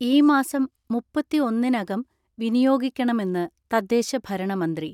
ഈ മാസം മുപ്പത്തിഒന്നിന് അകം വിനിയോഗിക്കണമെന്ന് തദ്ദേശഭരണ മന്ത്രി.